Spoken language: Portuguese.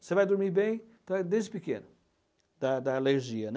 Você vai dormir bem então desde pequeno, da da alergia, né?